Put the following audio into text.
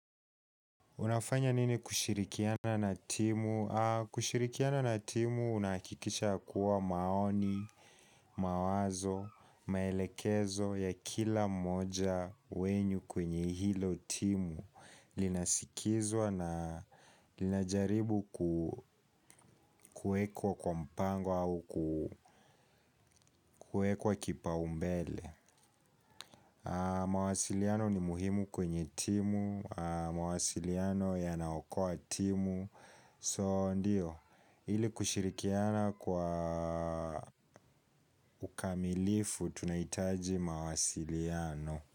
Unafanya nini kushirikiana na timu? Kushirikiana na timu unahakikisha yakuwa maoni, mawazo, maelekezo ya kila mmoja wenyu kwenye hilo timu. Linasikizwa na linajaribu kuwekwa kwa mpango au kuwekwa kipaumbele. Mawasiliano ni muhimu kwenye timu. Mawasiliano yanaokoa timu. So ndiyo ili kushirikiana kwa ukamilifu tunahitaji mawasiliano.